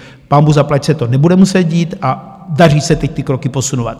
Pánbůh zaplať se to nebude muset dít a daří se teď ty kroky posunovat.